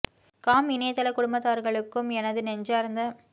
com இணையதள குடும்பத்தார்களுக்கும் எனது நெஞ்சார்ந்த